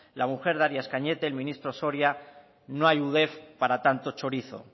la mujer de arias cañete el ministro soria no hay udef para tanto chorizo